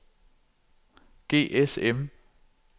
GSM